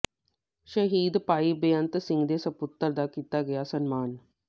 ਸ਼ਹੀਦ ਭਾਈ ਬੇਅੰਤ ਸਿੰਘ ਦੇ ਸੁਪੱਤਰ ਦਾ ਕੀਤਾ ਗਿਆ ਸਨਮਾਨ